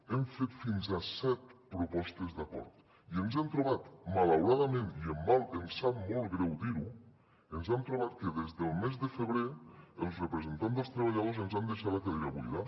hem fet fins a set propostes d’acord i ens hem trobat malauradament i em sap molt greu dir ho que des del mes de febrer els representants dels treballadors ens han deixat la cadira buida